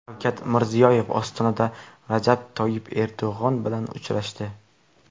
Shavkat Mirziyoyev Ostonada Rajab Toyyib Erdo‘g‘on bilan uchrashdi.